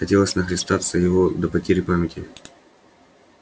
хотелось нахлестаться его до потери памяти